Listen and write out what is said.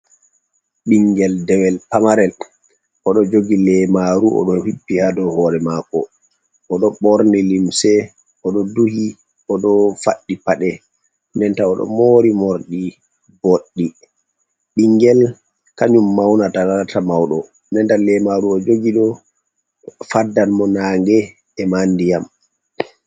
Ɓingel dewel pamarel oɗo jogi lemaru oɗo hippi hadow hore mako, oɗo ɓorni limse, oɗo duhi, oɗo faɗi paɗe nden ta oɗo mori morɗi boɗɗi, ɓingel kanyum maunata lata mauɗo, ndenta lemaru o jogi ɗo faɗdan mo nange e ma ndiyam.